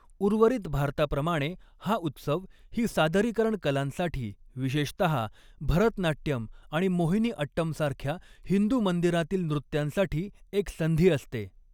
उर्वरित भारताप्रमाणे, हा उत्सव ही सादरीकरण कलांसाठी, विशेषतः भरतनाट्यम आणि मोहिनीअट्टमसारख्या हिंदू मंदिरांतील नृत्यांसाठी एक संधी असते.